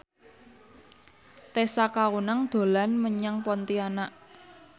Tessa Kaunang dolan menyang Pontianak